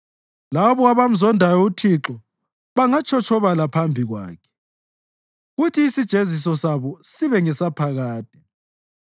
Labo abamzondayo uThixo bangatshotshobala phambi kwakhe, kuthi isijeziso sabo sibe ngesaphakade.